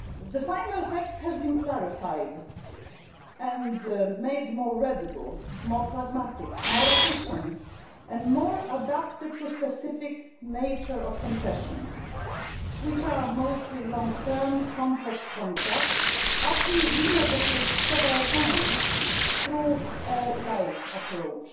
July. The final text has been clarified and made more readable, more pragmatic, more efficient and more adapted to the specific nature of concessions, which are mostly long term, complex contracts, often renegotiated several times with a light approach.